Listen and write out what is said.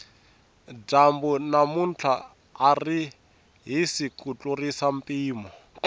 dyambu namuntlha ari hisi ku tlurisa mpimo